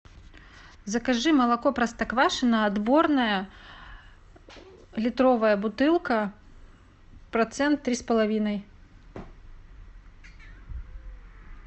закажи молоко простоквашино отборное литровая бутылка процент три с половиной